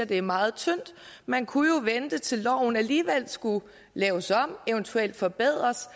det er meget tyndt man kunne jo vente til loven alligevel skulle laves om og eventuelt forbedres